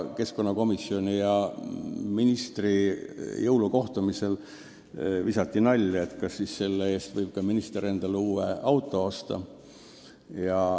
Keskkonnakomisjoni ja ministri jõulukohtumisel visati nalja, et kas selle eest võib siis minister endale ka uue auto osta.